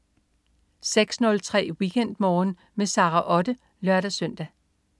06.03 WeekendMorgen med Sara Otte (lør-søn)